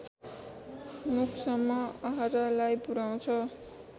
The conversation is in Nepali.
मुखसम्म आहारालाई पुर्‍याउँछ